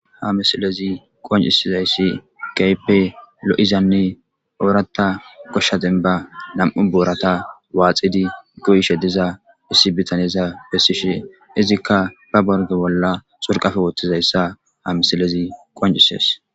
Ha misilezi qoncisizayssi kaype lo'izanne oorata koshshaden ba nam'u boorata waaxidi goyishe diza issi bitanyeza bessishe izikka ba borge bolla surqafe wottizayssa ha misilezi qoncises.